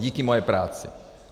Díky mojí práci.